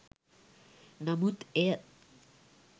නමුත් එය